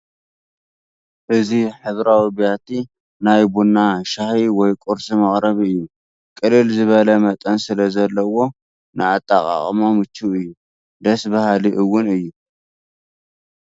እዚ ሕብራዊ ቢያቲ ናይ ቡና ሻሂ ወይ ቁርሲ መቕረቢ እዩ፡፡ ቅልል ዝበለ መጠን ስለዘለዎ ንኣጠቓቕማ ምቹው እዩ፡፡ ደስ በሃሊ እውን እዩ፡፡